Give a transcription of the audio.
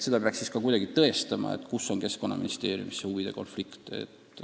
Seda peaks siiski ka kuidagi tõestama, kus see huvide konflikt ministeeriumis on.